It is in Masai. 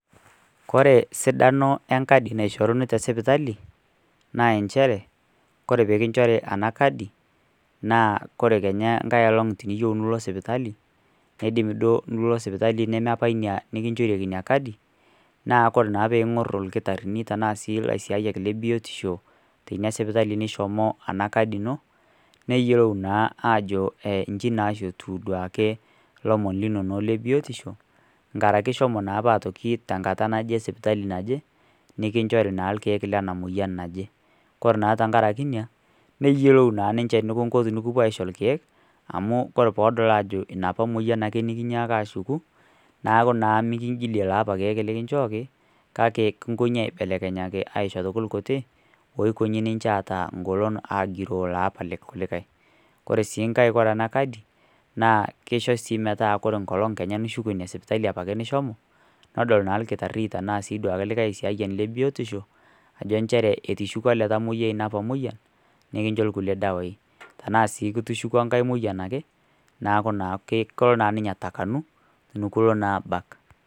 Kore sidano enkadi naishoruni tesipitali naa inchere kore ena kadi naa keidim enkai oleng nilo sipitali, nebaiki nemeina sipitali nikinchorieki ina kadi naa kore naa peing'or irkitarini ashuu ilaisiayiak le biotisho teina sipitali nishomo ena kadi ino neyiolo naa ajo ilomon lebiotisho nkaraki ishomo naa apa tenkata naje sipitali naje nikinchori naa irkiek lena moyian naje kore naa tenkaraki ina nayiolou naa ninche enikinko tenikipuo aisho irkiek amu kore peedol ajo enapake moyian nikinyaaka ashuku neeku naa mikingilie lapake kiek likinjooki kake kinkoji aibelekenyaki asiho kulie kutik oitoki ninche aata egolo agiroo lapa kulikae ore sii ngae ore ena kadi naa kesho sii metaa ore Kenya enkolong nishuko ina sipitali apake nishomo nedol naa orkitare ashuu likae aisiayiani le biotisho ajo nchere etushukuo ele tamoyiai enapa moyian nikincho kulie dawai tenaa sii ishuku enkae moyian ake neeku naa kelo ninye atakanu enekilo aabak.